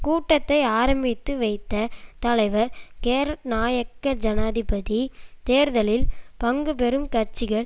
கூட்டத்தை ஆரம்பித்து வைத்த தலைவர் கேரட்னாயக்க ஜனாதிபதி தேர்தலில் பங்கு பெறும் கட்சிகள்